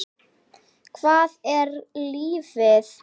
Hvað er lífið?